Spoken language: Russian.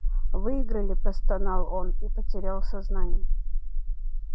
выиграли простонал он и потерял сознание